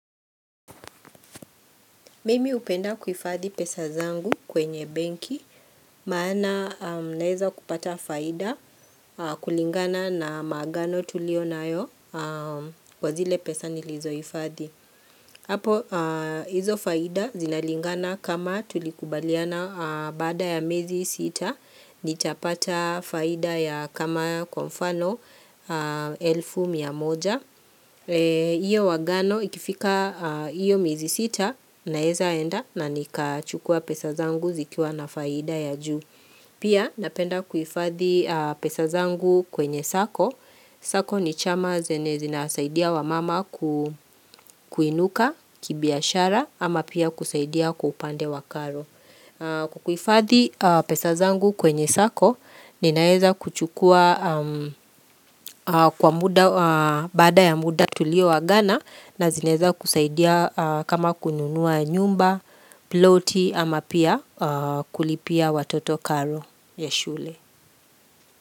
Mimi hupenda kuhifadhi pesa zangu kwenye benki, maana naweza kupata faida kulingana na maagano tulio nayo kwa zile pesa nilizohifadhi. Hapo hizo faida zinalingana kama tulikubaliana baada ya miezi sita, nitapata faida ya kama kwa mfano elfu mia moja. Iyo agano ikifika hiyo miezi sita naeza enda na nikachukua pesa zangu zikiwa na faida ya juu Pia napenda kuhifadhi pesa zangu kwenye sacco. Sacco ni chama zenye zina saidia wamama kuinuka kibiashara ama pia kusaidia kwa upande wa karo kuhifadhi pesa zangu kwenye sacco ninaweza kuchukua kwa muda, baada ya muda tulioagana na zinaweza kusaidia kama kununua nyumba, ploti ama pia kulipia watoto karo ya shule.